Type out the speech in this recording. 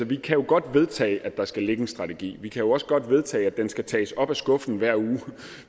vi kan jo godt vedtage at der skal ligge en strategi vi kan også godt vedtage at den skal tages op af skuffen hver uge